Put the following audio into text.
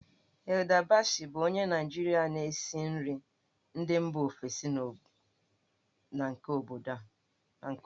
Hilda Baci bụ onye Naịjirịa na-esi nri ndị mba ofesi na nke obodo.